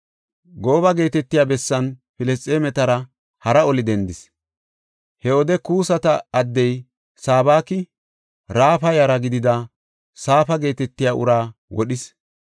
Gooba geetetiya bessan Filisxeemetara hara oli dendis. He wode Kusata addey Sabaki, Raafa yara gidida Saafa geetetiya uraa wodhis.